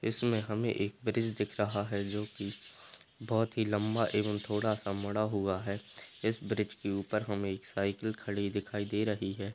इसमें हमें एक ब्रिज दिख रहा है जो कि बहुत ही लम्बा एंव थोडा सा मुथा हुआ है इस ब्रिज के ऊपर हमें एक साइकिल खाड़ी दिखाई दे रही है।